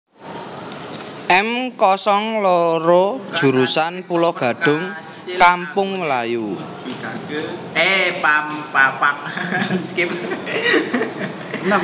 M kosong loro jurusan Pulogadung Kampung Melayu